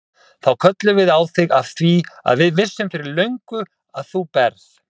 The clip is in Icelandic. Þá kölluðum við á þig af því við vissum fyrir löngu að þú berð